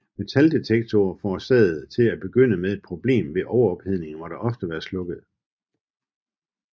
Metaldetektorerne forårsagede til at begynde med et problem ved overophedning og måtte ofte være slukket